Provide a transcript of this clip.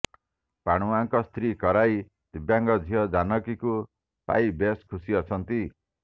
ପାଣୁଆଙ୍କ ସ୍ତ୍ରୀ କଇରା ଦିବ୍ୟାଙ୍ଗ ଝିଅ ଜାନକୀଙ୍କୁ ପାଇ ବେଶ୍ ଖୁସି ଅଛନ୍ତି